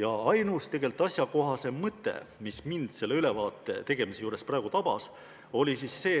Ja üks asjakohane mõte, mis mind selle ülevaate tegemise juures praegu tabas, on see,